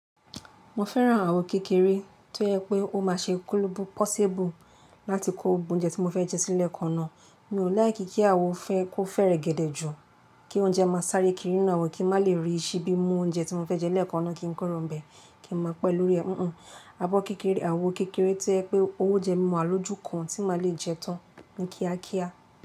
Mo fẹ́ran àwo kékeré tí yẹ pé ó máa ṣe possible láti kó oúnjẹ tí mo fẹ́ jẹ sí lẹ̀ekan nàa. Mi ò láì kí kí àwo fẹ́ kó fẹ́rẹ̀gẹ̀dẹ̀ jù, kí oúnjẹ máa sáré kiri nínú àwo kí n má lè ríi síbi mú oúnjẹ tí mo fẹ́ jẹ lẹ́ẹ̀kan ọ̀nà kí n kuro n bẹ̀ kí n máa pẹ́ lórí ẹ̀. Àbọ̀ kékeré, àwo kékeré tí yẹ pé oúnjẹ máa wa lọ́jú kan tí máa lè jẹ tán ní kíákíá.